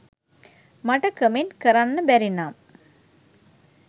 මට කමෙන්ට් කරන්න බැරි නම්